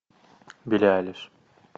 билли айлиш